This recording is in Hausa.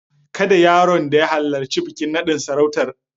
Kada yaron da ya halarci bikin naɗin sarautar.